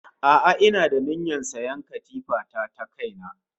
A'a ina da niyyar sayan katifa ta ta kaina